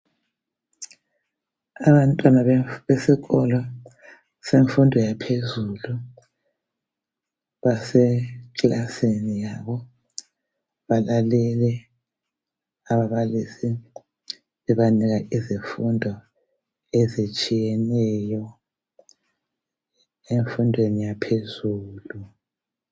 Abantwana besikolo semfundo yaphezulu basekilasini yabo balale ababalisi bebanika izifundo ezitshiyeneyo emfundweni yaphezulu.